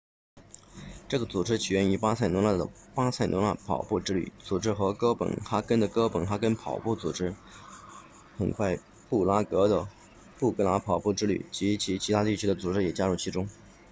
这个组织起源于巴塞罗那的巴塞罗那跑步之旅 ”running tours barcelona 组织和哥本哈根的哥本哈根跑步 ”running copenhagen 组织很快布拉格的布拉格跑步之旅” running tours prague 及其他地区的组织也加入其中